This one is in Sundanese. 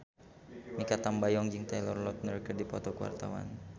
Mikha Tambayong jeung Taylor Lautner keur dipoto ku wartawan